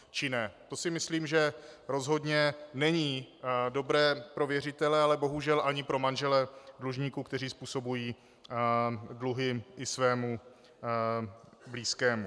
To si myslím, že rozhodně není dobré pro věřitele, ale bohužel ani pro manžele dlužníků, kteří způsobují dluhy i svému blízkému.